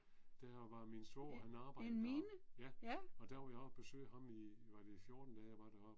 Der var min svoger, han arbejdede der, ja, og der var jeg oppe og besøge ham i var det i 14 dage jeg var deroppe